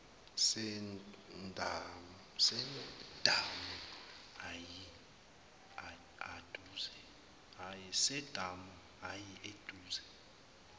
sedamu ayi aduze